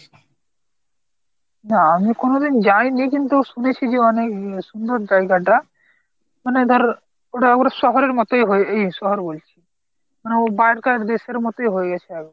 না আমি কোনোদিন যাইনি কিন্তু শুনেছি যে অনেক সুন্দর জায়গা টা। মানে ধর ওটা ওটা শহরের মতই এই শহর বলছি মানে ওই বারকার দেশের মতই হয়ে গেছে এখন।